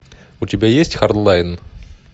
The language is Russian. у тебя есть хардлайн